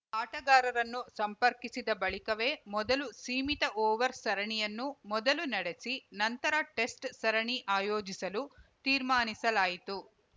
ಆಟಗಾರರನ್ನು ಸಂಪರ್ಕಿಸಿದ ಬಳಿಕವೇ ಮೊದಲು ಸೀಮಿತ ಓವರ್‌ ಸರಣಿಯನ್ನು ಮೊದಲು ನಡೆಸಿ ನಂತರ ಟೆಸ್ಟ್‌ ಸರಣಿ ಆಯೋಜಿಸಲು ತೀರ್ಮಾನಿಸಲಾಯಿತು